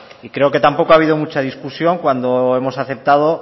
creo que tampoco ha habido mucha discusión cuando hemos aceptado